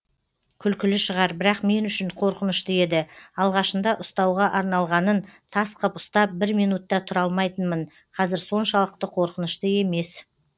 күлкілі шығар бірақ мен үшін қорқынышты еді алғашында ұстауға арналғанын тас қып ұстап бір минут та тұра алмайтынмын қазір соншалықты қорқынышты емес